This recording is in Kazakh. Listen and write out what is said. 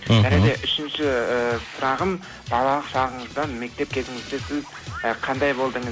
мхм және де үшінші ііі сұрағым балалық шағыңызда мектеп кезіңізде сіз і қандай болдыңыз